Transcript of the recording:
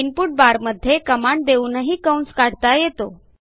input बारमध्ये command देऊनही कंस काढता येतो